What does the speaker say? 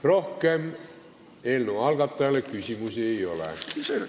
Rohkem eelnõu algatajale küsimusi ei ole.